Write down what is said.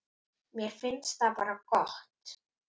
Mér finnst það bara gott.